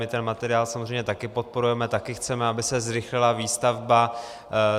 My ten materiál samozřejmě také podporujeme, také chceme, aby se zrychlila výstavba.